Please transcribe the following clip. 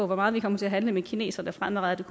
meget vi kommer til at handle med kineserne fremadrettet